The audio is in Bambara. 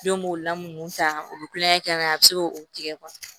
Den b'o la mun ta o bɛ kulonkɛ kɛ ka ɲɛ a bɛ se k'o tigɛ